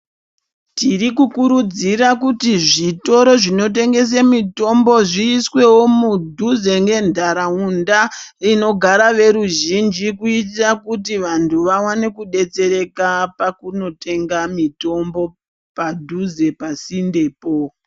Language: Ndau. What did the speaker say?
Tiri kukurudzira kuti zvitoro zvinotengese mitombo zviisweo mudhuze ngenthraunda inogara veruzhinji kuitira kuti vanthu vaone kudetsereka pakunotenga mitombo padhuze pasindepo.